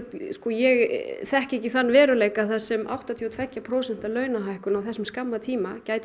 ég þekki ekki þann veruleika þar sem áttatíu og tveggja prósenta launahækkun á þessum skamma tíma gæti